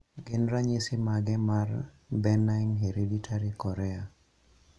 Gin ranyisi mage mar Benign hereditary chorea?